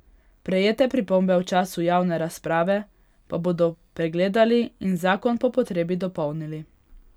Prejete pripombe v času javne razprave pa bodo pregledali in zakon po potrebi dopolnili.